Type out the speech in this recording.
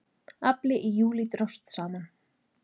Afli í júlí dróst saman